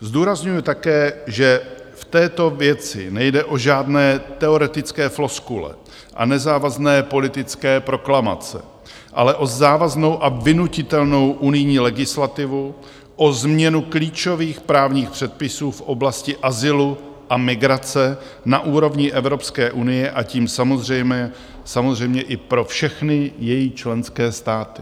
Zdůrazňuji také, že v této věci nejde o žádné teoretické floskule a nezávazné politické proklamace, ale o závaznou a vynutitelnou unijní legislativu, o změnu klíčových právních předpisů v oblasti azylu a migrace na úrovni Evropské unie, a tím samozřejmě i pro všechny její členské státy.